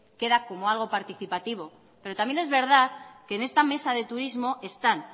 queda como algo participativo pero también es verdad que en esta mesa de turismo están